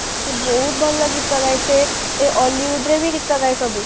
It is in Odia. ସେ ବହୁତ ଭଲ ଗୀତ ଗାଏ ସେ hollywood ରେ ବି ଗୀତ ଗାଏ ସବୁ